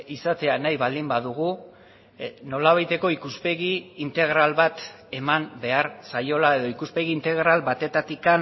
izatea nahi baldin badugu nolabaiteko ikuspegi integral bat eman behar zaiola edo ikuspegi integral batetik